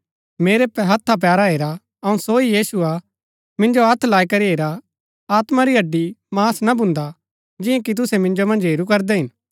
मेरै हथा पैरा हेरा अऊँ सो ही यीशु हा मिंजो हत्थ लाई करी हेरा आत्मा री हड्डीमांस ना भुन्दा जियां कि तुसै मिन्जो मन्ज हेरू करदै हिन